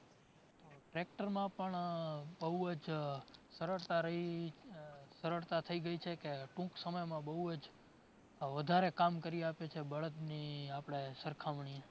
Tractor માં પણ બોવ જ સરળતા રહી સરળતા થઈ ગઈ છે કે ટૂંક સમયમાં બોવ જ વધારે કામ કરી આપે છે બળદ ની આપણે સરખામણી.